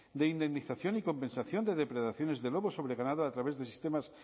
de indemnización y compensación de depredaciones de lobos sobre ganado a través de sistemas